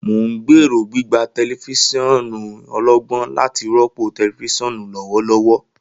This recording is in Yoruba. Mo n gbero gbigba tẹlifisiọnu ọlọgbọn lati rọpo tẹlifisiọnu lọwọlọwọ.